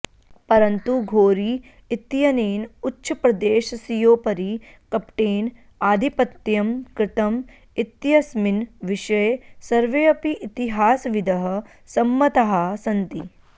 परन्तु घोरी इत्यनेन उच्छप्रदेशस्योपरि कपटेन आधिपत्यं कृतम् इत्यस्मिन् विषये सर्वेऽपि इतिहासविदः सम्मताः सन्ति